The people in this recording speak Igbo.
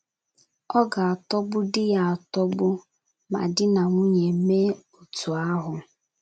Ọ ga - atọgbudị ya atọgbu ma di na nwunye mee otú ahụ.